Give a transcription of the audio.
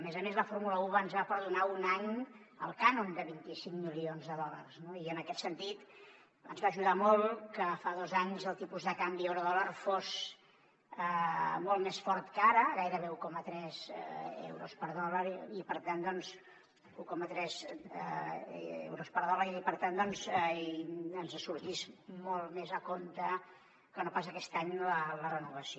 a més a més la fórmula un ens va perdonar un any el cànon de vint cinc milions de dòlars no i en aquest sentit ens va ajudar molt que fa dos anys el tipus de canvi euro a dòlar fos molt més fort que ara gairebé un coma tres euros per dòlar i per tant ens sortís molt més a compte que no pas aquest any la renovació